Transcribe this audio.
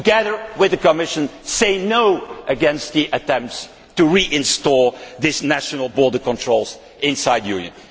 Together with the Commission say no' to the attempts to reinstate these national border controls inside the Union.